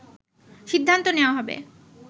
সিদ্ধান্ত নেয়া হবে